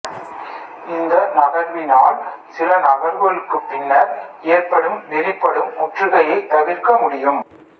இந்த நகர்வினால் சிலநகர்வுகளுக்குப் பின்னர் ஏற்படும் வெளிப்படும் முற்றுகையை தவிர்க்க முடியும்